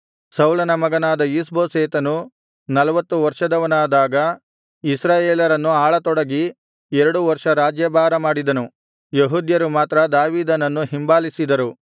ಸೌಲನ ಮಗನಾದ ಈಷ್ಬೋಶೆತನು ನಲ್ವತ್ತು ವರ್ಷದವನಾದಾಗ ಇಸ್ರಾಯೇಲರನ್ನು ಆಳತೊಡಗಿ ಎರಡು ವರ್ಷ ರಾಜ್ಯಭಾರ ಮಾಡಿದನು ಯೆಹೂದ್ಯರು ಮಾತ್ರ ದಾವೀದನನ್ನು ಹಿಂಬಾಲಿಸಿದರು